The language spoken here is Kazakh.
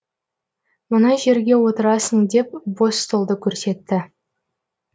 мына жерге отырасың деп бос столды көрсетті